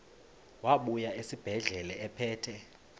wabuya esibedlela ephethe